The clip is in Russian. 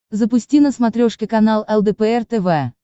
запусти на смотрешке канал лдпр тв